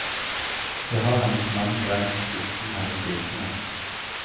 Dét har hennes mann brent uten hennes vitende.